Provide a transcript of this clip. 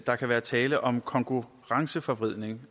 der kan være tale om konkurrenceforvridning